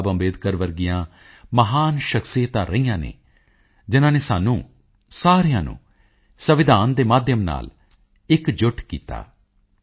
ਬਾਬਾ ਸਾਹਿਬ ਅੰਬੇਡਕਰ ਵਰਗੀਆਂ ਮਹਾਨ ਸ਼ਖਸੀਅਤਾਂ ਰਹੀਆਂ ਹਨ ਜਿਨ੍ਹਾਂ ਨੇ ਸਾਨੂੰ ਸਾਰਿਆਂ ਨੂੰ ਸੰਵਿਧਾਨ ਦੇ ਮਾਧਿਅਮ ਨਾਲ ਇਕਜੁੱਟ ਕੀਤਾ